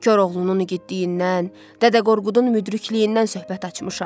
Koroğlunun igidliyindən, Dədə Qorqudun müdrikliyindən söhbət açmışam.